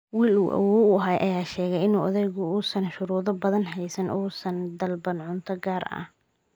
wiil uu awoow u ahaa ayaa sheegay in odaygu uusan shuruudo badan haysan oo uusan dalban cunto gaar ah.